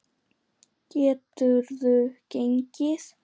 Geturðu gengið?